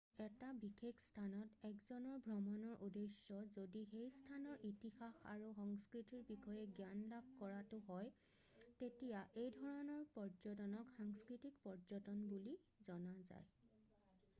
এটা বিশেষ স্থানত 1জনৰ ভ্ৰমণৰ উদ্দেশ্য যদি সেই স্থানৰ ইতিহাস আৰু সংস্কৃতিৰ বিষয়ে জ্ঞান লাভ কৰাটো হয় তেতিয়া এনে ধৰণৰ পৰ্যটনক সাংস্কৃতিক পৰ্যটন বুলি জনা যায়